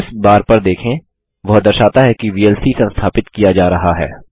progress bar पर देखें वह दर्शाता है कि वीएलसी संस्थापित किया जा रहा है